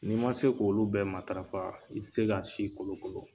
N'i ma se k'olu bɛɛ matarafa i te se ka si kolo kolo